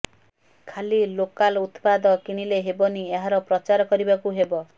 ଖାଲି ଲୋକାଲ୍ ଉତ୍ପାଦ କିଣିଲେ ହେବନି ଏହାର ପ୍ରଚାର କରିବାକୁ ହେବ